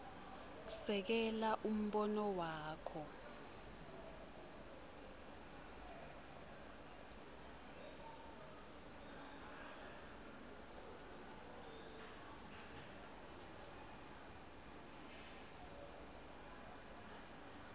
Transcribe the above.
sekela umbono wakho